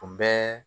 U bɛɛ